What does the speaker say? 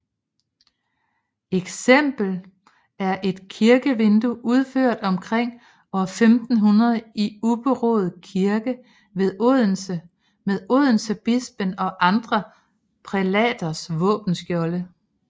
Et eksempel er et kirkevindue udført omkring år 1500 i Ubberud Kirke ved Odense med odensebispen og andre prælaters våbenskjolde